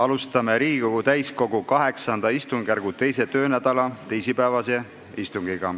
Alustame Riigikogu täiskogu VIII istungjärgu 2. töönädala teisipäevast istungit.